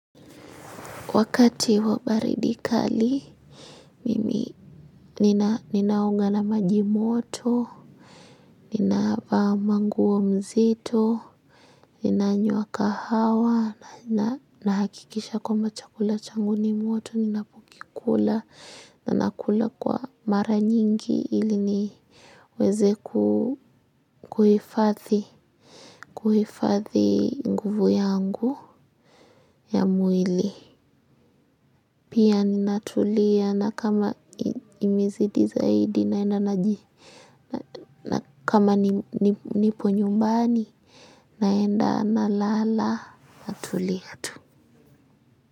Wakati wa baridi kali, mimi ninaoga na maji moto. Ninavaa nguo mzito, ninanyua kahawa, nahakikisha kwa chakula changu ni moto, ninapokila, nanakula kwa mara nyingi ili ni weze kuhifadhi, kuhifadhi nguvu yangu ya mwili. Pia ninatulia na kama imezidi zaidi naenda na kama nipo nyumbani naenda nalala natulia.